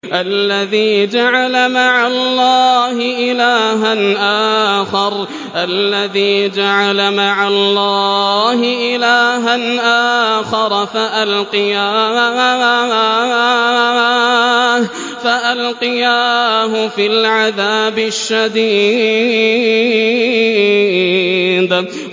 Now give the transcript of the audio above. الَّذِي جَعَلَ مَعَ اللَّهِ إِلَٰهًا آخَرَ فَأَلْقِيَاهُ فِي الْعَذَابِ الشَّدِيدِ